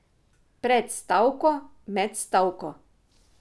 Pred stavko, med stavko ...